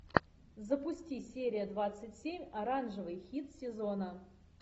запусти серия двадцать семь оранжевый хит сезона